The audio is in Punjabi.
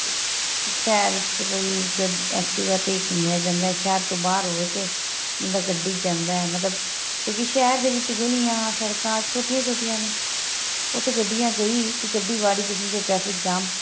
ਸ਼ਹਿਰ ਚ ਵੀ activa ਤੇ ਹੀ ਘੁੰਮਿਆਂ ਜਾਂਦਾ ਸ਼ਹਿਰ ਤੋ ਬਹਾਰ ਹੋਵੇ ਤੇ ਮਤਲਬ ਗੱਡੀ ਵਿੱਚ ਜਾਂਦਾ ਏ ਮਤਲਬ ਸ਼ਹਿਰ ਦੇ ਵਿੱਚ ਗਲੀਆਂ ਸੜਕਾਂ ਛੋਟੀਆਂ ਛੋਟੀਆਂ ਨੇ ਉਥੇ ਗੱਡੀਆਂ ਗਈ ਇੱਕ ਗੱਡੀ ਵਾੜੀ ਤਾਂ ਸਮਝੋ traffic ਜ਼ਾਮ